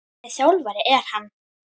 Hvernig þjálfari er hann?